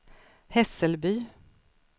Hässelby